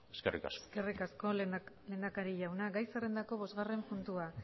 eskerrik asko eskerrik asko lehendakari jauna gai zerrendako bosgarren puntua